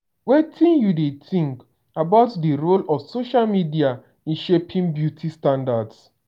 wetin you dey think about di role of social media in shaping beauty standards?